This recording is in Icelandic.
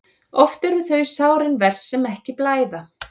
Oft eru þau sárin verst sem ekki blæða.